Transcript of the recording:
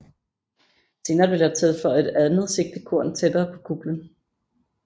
Senere blev der tilføjet et andet sigtekorn tættere på kuplen